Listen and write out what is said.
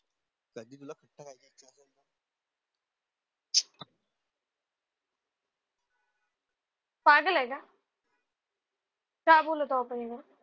पागल आहे का.